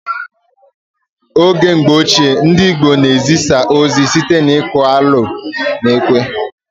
Oge mgbọ ochie, ndị Igbo na ezisa ozi site n'iku alo na ekwe